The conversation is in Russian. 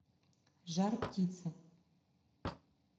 жар птица